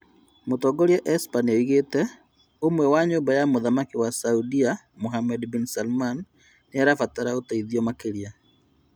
Mũtongoria Esper nĩoigĩte "Ũmwe wa nyũmba ya mũthamaki wa Saudia Mohammed bin Salman nĩarabatara ũteithio makĩrĩa"